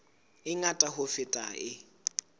e ngata ho feta e